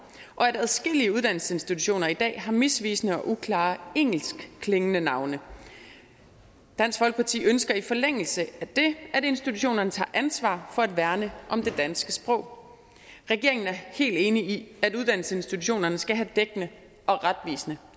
og at adskillige uddannelsesinstitutioner i dag har misvisende og uklare engelskklingende navne dansk folkeparti ønsker i forlængelse af det at institutionerne tager ansvar for at værne om det danske sprog regeringen er helt enig i at uddannelsesinstitutionerne skal have dækkende og retvisende